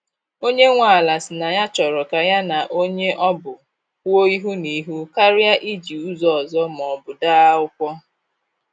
Onye nwe ala si na ya chọrọ ka ya na onye ọ bụ kwuo ihu na ihu karịa iji ụzọ ọzọ ma ọbụ dee akwụkwọ.